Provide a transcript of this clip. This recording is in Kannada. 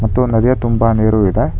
ಮತ್ತು ನದಿಯ ತುಂಬ ನೀರು ಇದೆ.